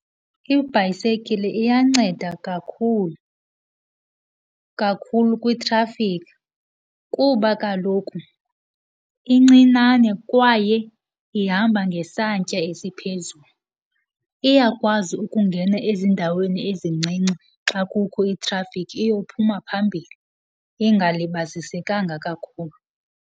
Ibhayisekile iyanceda kakhulu, kakhulu kwitrafikhi kuba kaloku incinane kwaye ihamba ngesantya esiphezulu. Iyakwazi ukungena ezindaweni ezincinci xa kukho itrafikhi iyophuma phambili ingalibazisekanga kakhulu.